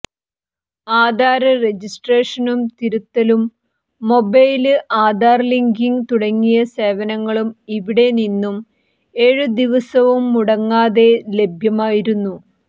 ആധാര് രജിസ്ട്രേഷനും തിരുത്തലും mobile Aadhaar linking തുടങ്ങിയ സേവനങ്ങളും ഇവിടെ നിന്നും എഴു ദിവസവും മുടങ്ങാതെ ലഭ്യമായിരുന്നു